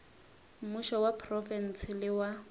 mmušo wa profense le wa